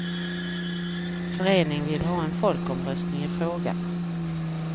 Föreningen vill ha en folkomröstning i frågan.